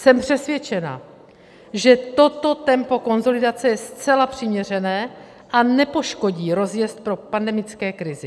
Jsem přesvědčena, že toto tempo konsolidace je zcela přiměřené a nepoškodí rozjezd po pandemické krizi.